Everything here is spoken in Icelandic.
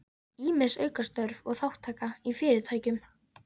Ýmis aukastörf og þátttaka í fyrirtækjum